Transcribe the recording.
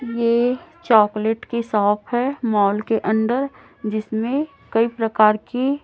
ये चॉकलेट की शॉप है माल के अंदर जिसमें कई प्रकार की--